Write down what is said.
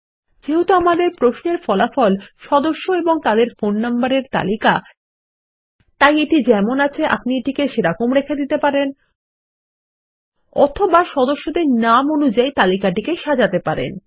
যেহেতু আমাদের প্রশ্ন এর ফলাফল সদস্য এবং তাদের ফোন নম্বর এর তালিকা তাই এটি যেমন আছে আপনি তেমন রেখে দিতে পারেন অথবা সদস্যের নাম অনুযায়ী তালিকাটিকে সাজাতে পারেন